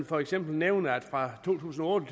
for eksempel nævne at forbruget fra to tusind og